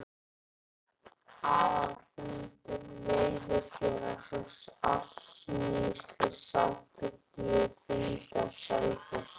Aðalfundur Veiðifélags Árnessýslu samþykkti á fundi á Selfossi